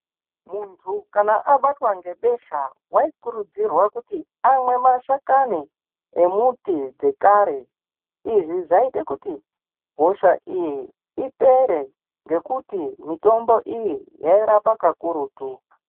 Muntu kana abatwa ngebesha waikurudzirwa kuti amwe mashakani emuti dzekare izvi zviite kuti hosha iyi ipere ngekuti mitombo iyi yairapa kakurutu.